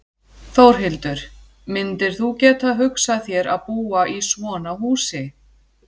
Þórhildur: Myndir þú geta hugsað þér að búa í svona húsi?